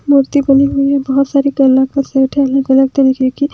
मूर्ती बनी हुई बहोत सारी अलग अलग तरीके कि--